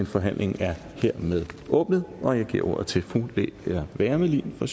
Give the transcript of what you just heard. forhandlingen er hermed åbnet og jeg giver ordet til fru lea wermelin fra